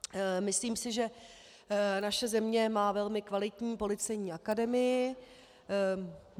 Myslím si, že naše země má velmi kvalitní Policejní akademii.